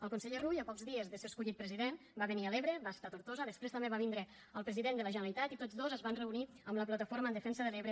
el conseller rull a pocs dies de ser escollit president va venir a l’ebre va estar a tortosa després també va vindre el president de la generalitat i tots dos es van reunir amb la plataforma en defensa de l’ebre